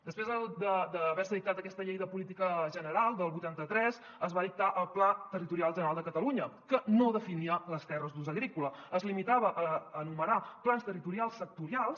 després d’haver se dictat aquesta llei de política general del vuitanta tres es va dictar el pla territorial general de catalunya que no definia les terres d’ús agrícola es limitava a enumerar plans territorials sectorials